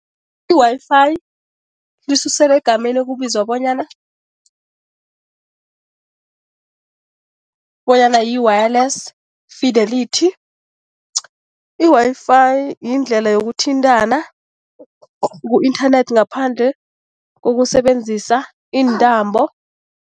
I-Wi-Fi lisuselwa egameni okubizwa bonyana, bonyana yi-Wireless Fidelity. I-Wi-Fi yindlela yokuthintana ku-inthanethi ngaphandle kokusebenzisa iintambo.